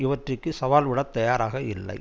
இவற்றிற்கு சவால் விட தயாராக இல்லை